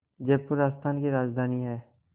जयपुर राजस्थान की राजधानी है